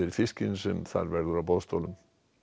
fiskinn sem þar verður á boðstólum